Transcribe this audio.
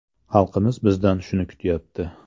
Xalqimiz bizdan shuni kutyapti.